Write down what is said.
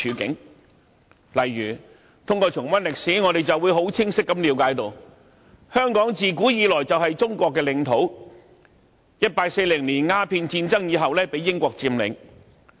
舉例而言，通過重溫歷史，我們清晰了解到：香港自古以來就是中國的領土，它在1840年鴉片戰爭後被英國佔領。